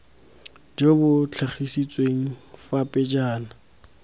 jo bo tlhagisitsweng fa pejana